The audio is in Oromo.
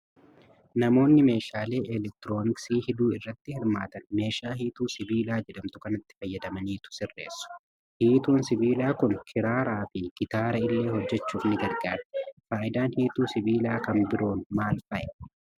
Namoonni meeshaalee elektirooniksii hidhuu irratti hirmaatan meeshaa hiituu sibilaa jedhamtu kanatti fayyadamaniitu sirreessu. Hiituun sibiilaa kun kiraaraa fi gitaara illee hojjechuuf ni gargaarti. Faayidaan hiituu sibiilaa kan biroon maal fa'i?